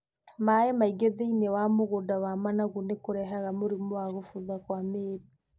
Maaĩ maingĩ thĩiniĩ wa mũgũnda wa managu nĩ kũrehaga mũrimũ wa gũbutha kwa mĩĩri.